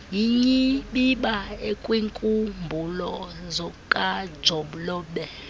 yinyibiba ekwiinkumbulo zokajolobe